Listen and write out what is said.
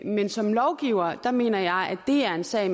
men som lovgiver mener jeg at det er en sag